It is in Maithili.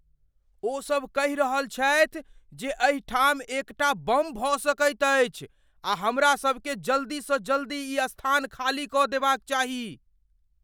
ओसभ कहि रहल छथि जे एहि ठाम एक टा बम भऽ सकैत अछि आ हमरा सभकेँ जल्दीसँ जल्दी ई स्थान खाली कऽ देबाक चाही।